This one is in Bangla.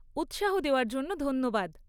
উৎসাহ দেওয়ার জন্য ধন্যবাদ।